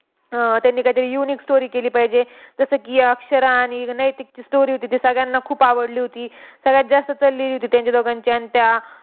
अह त्यांनी कायतरी unique story केली पाहिजे. जसं की, अक्षरा आणि नैतिकची story होती, ती सगळ्यांना खूप आवडली होती. सगळ्यात जास्त चललेली होती त्यांची दोघांची. आणि त्या